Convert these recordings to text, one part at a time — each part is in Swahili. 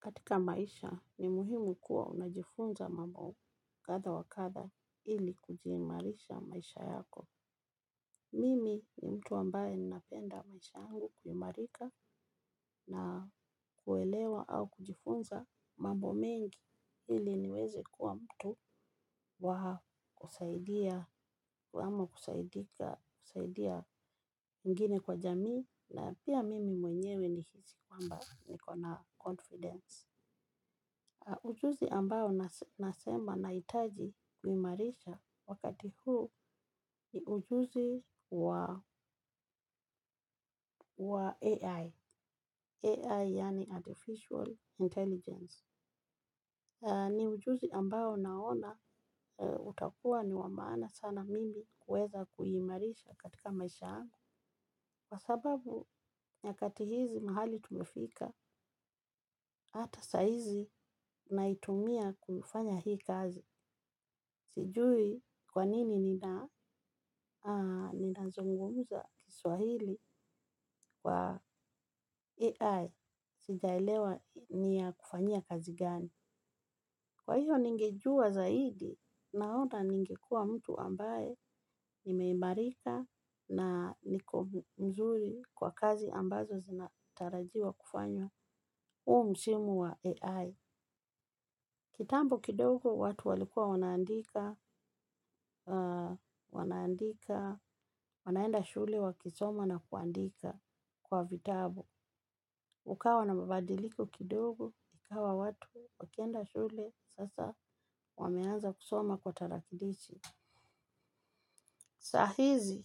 Katika maisha ni muhimu kuwa unajifunza mambo kadha wa kadha ili kujiimarisha maisha yako. Mimi ni mtu ambaye ninapenda maisha angu kuimarika na kuelewa au kujifunza mambo mengi ili niweze kuwa mtu kusaidia ama kusaidia wengine kwa jamii pia mimi mwenye ni hisi kwamba niko na confidence. Ujuzi ambayo nasema naitaji kuhimarisha wakati huu ni ujuzi wa AI, AI yaani Artificial Intelligence. Ni ujuzi ambao naona utakua ni wa maana sana mimi kuweza kuimarisha katika maisha angu. Kwa sababu, nyakati hizi mahali tumefika, hata saizi naitumia kufanya hii kazi. Sijui kwanini ninazungumuza kiswahili kwa AI, sijaelewa niya kufanyia kazi gani. Kwa iyo ningejua zaidi naona ningekuwa mtu ambaye nimeimarika na niko mzuri kwa kazi ambazo zinatarajiwa kufanywa. U msimu wa AI. Kitambo kidogo watu walikua wanaandika. Wanaenda shule wakisoma na kuandika kwa vitabu. Ukawa na mabadiliko kidogo. Ikawa watu wakienda shule. Sasa wameanza kusoma kwa tarakilishi. Saa hizi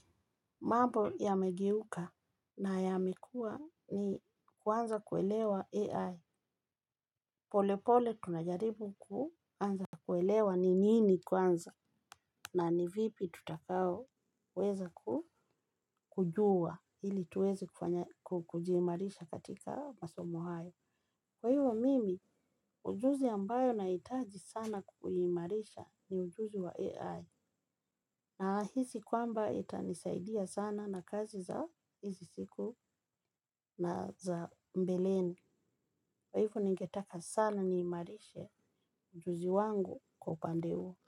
mambo yamegeuka na yamekua. Ni kuanza kuelewa AI. Pole pole tunajaribu kuanza kuelewa ni nini kuanza na ni vipi tutakaoweza kujua hili tuwezi kujimarisha katika masomo hayo. Kwa hivyo mimi, ujuzi ambayo na itaji sana kuimarisha ni ujuzi wa AI. Na nahisi kwamba itanisaidia sana na kazi za hizi siku na za mbeleni kwa hiyo ningejua zaidi naona ningekuwa.